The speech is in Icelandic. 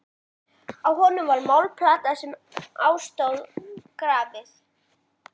Á honum var málmplata sem á stóð grafið: